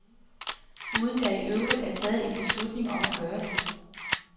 Uden der i øvrigt er taget en beslutning om at gøre det.